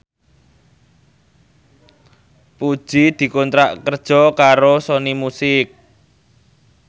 Puji dikontrak kerja karo Sony Music